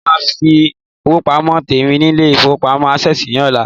Mo máa sí ifowopamo tèmi nilé-ifowopamo access ní ọlá.